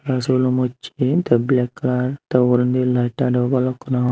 aro silum ussey tey black color tey ugrendi light aro balukkun aagon.